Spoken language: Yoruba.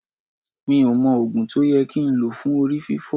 Mi ò mọ Ògùn tó yẹ kí n lò fún Orí fiífọ́.